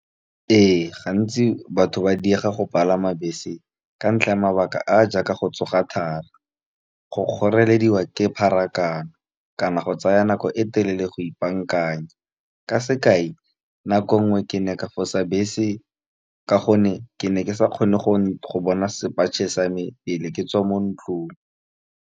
Ee, gantsi batho ba diega go palama bese, ka ntlha ya mabaka a a jaaka go tsoga thari, go kgorelediwa ke pharakano, kana go tsaya nako e telele go ipaakanya. Ka sekai nako ngwe ke ne ka fosa bese ka gonne, ke ne ke sa kgone go bona sepatšhe sa me, pele ke tswa mo ntlong.